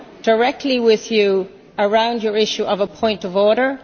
clarify directly with you about your issue of a point of